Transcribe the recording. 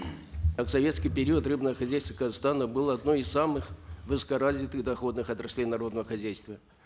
а в советский период рыбное хозяйство казахстана было одним из самых высокоразвитых доходных отраслей народного хозяйства